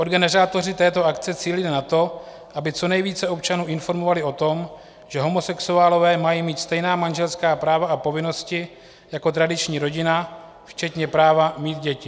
Organizátoři této akce cílili na to, aby co nejvíce občanů informovali o tom, že homosexuálové mají mít stejná manželská práva a povinnosti jako tradiční rodina, včetně práva mít děti.